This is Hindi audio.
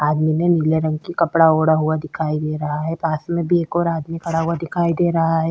आदमी ने नीला रंग का कपड़ा मोड़ा हुआ दिखाई दे रहा है पास में भी एक और आदमी खड़ा हुआ दिखाई दे रहा है।